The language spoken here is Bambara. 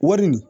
Wari nin